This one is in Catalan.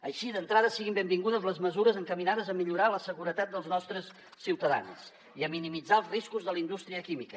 així d’entrada siguin benvingudes les mesures encaminades a millorar la seguretat dels nostres ciutadans i a minimitzar els riscos de la indústria química